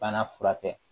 Bana furakɛ